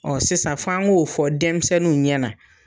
Ɔ sisan fɔ an k'o fɔ denmisɛnninw ɲɛ na.